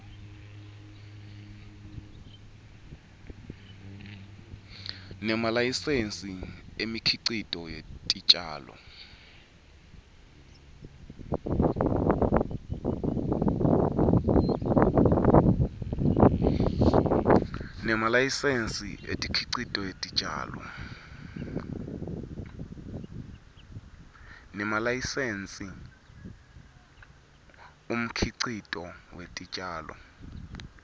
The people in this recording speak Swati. nemalayisensi umkhicito wetitjalo